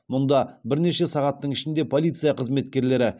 мұнда бірнеше сағаттың ішінде полиция қызметкерлері